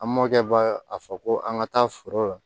An mɔkɛ b'a a fɔ ko an ka taa foro la